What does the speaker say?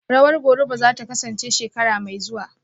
Rawar Goruba zata kasance shekara mai zuwa